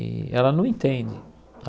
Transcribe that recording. E ela não entende.